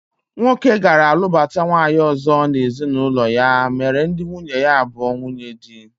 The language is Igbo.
Nwoke gara lụbata nwaanyị ọzọ n'ezinụlọ ya mere ndị nwunye ya abụọ nwunyedi